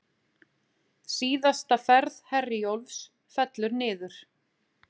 Síðasta ferð Herjólfs fellur niður